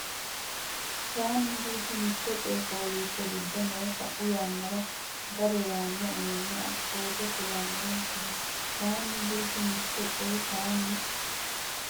kayinni Gurdu mitte coy fooliishsho giddo noo sa u yannara Gade yaanno uminni assoote kulannonkeho kayinni Gurdu mitte coy kayinni.